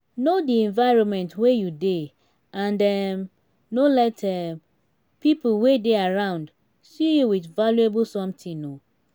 know di environment wey you dey and um no let um pipo wey dey around see you with valuable something um